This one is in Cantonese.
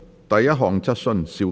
第一項質詢。